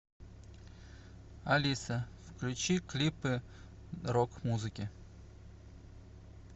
алиса включи клипы рок музыки